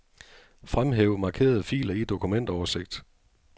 Fremhæv markerede filer i dokumentoversigt.